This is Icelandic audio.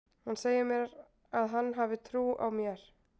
Hann segir að hann hafi trú á mér.